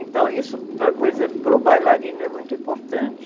Então isso, para, por exemplo, para o bailarino é muito importante.